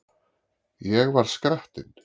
Ég var skrattinn.